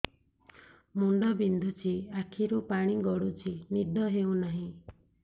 ମୁଣ୍ଡ ବିନ୍ଧୁଛି ଆଖିରୁ ପାଣି ଗଡୁଛି ନିଦ ହେଉନାହିଁ